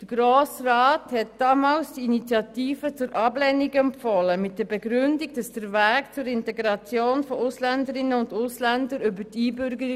Der Grosse Rat hat damals die Initiative zur Ablehnung empfohlen mit der Begründung, der Weg zur Integration von Ausländerinnen und Ausländern erfolge über die Einbürgerung.